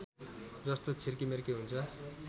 जस्तो छिर्केमिर्के हुन्छ